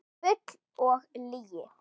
Bull og lygi